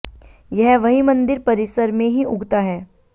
यह वही मंदिर परिसर में ही उगता है